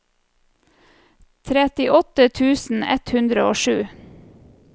trettiåtte tusen ett hundre og sju